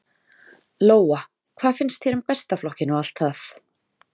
Lóa: Hvað finnst þér um Besta flokkinn og það allt?